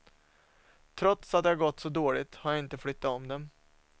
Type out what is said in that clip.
Trots att det gått så dåligt har jag inte flyttat om dem.